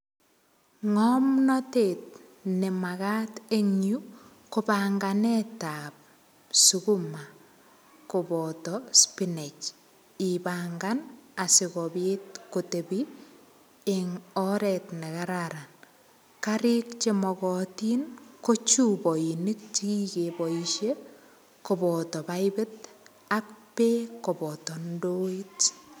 Ng'omnotet ne maka eng yu, ko panganetap sukuma, koboto spinach. Ipangan, asikobit kotebi eng oret ne kararan. Karik che makatin, ko chupainik che kikeboisie, koboto paipit ak beek koboto ndoit.